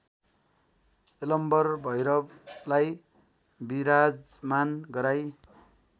यलम्बर भैरवलाई विराजमान गराई